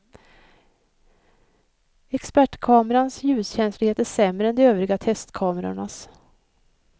Expertkamerans ljuskänslighet är sämre än de övriga testkamerornas.